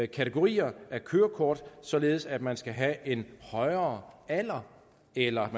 kategorier af kørekort således at man skal have en højere alder eller